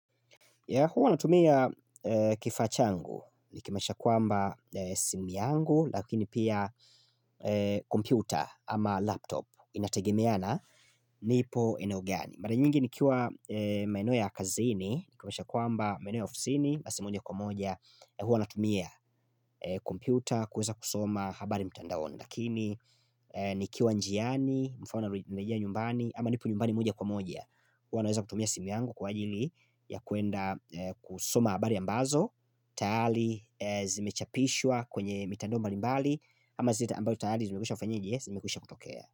Huwa natumia kifaa changu, nikimasha kwamba simu yangu, lakini pia kompyuta ama laptop inategemeana nipo eneo gani. Mara nyingi nikiwa maeno ya kazini, nikimasha kuamba maeno ya ofisini, basi moja kwa moja, huwa natumia kompyuta kuweza kusoma habari mtandaoni. Lakini ni kiwa njiani, mfano narejea nyumbani Ama nipo nyumbani moja kwa moja Uwanaweza kutumia simu yangu kwa ajili ya kuenda kusoma abari ambazo Tayali zimechapishwa kwenye mitando mbali mbali Ama zita ambayo tayali zimekusha kufanyenje, zimekusha kutokea.